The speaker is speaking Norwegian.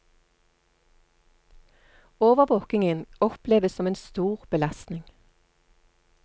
Overvåkingen oppleves som en stor belastning.